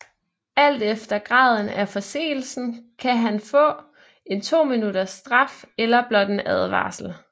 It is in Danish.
Alt efter graden af forseelsen kan man få en 2 minutters straf eller blot en advarsel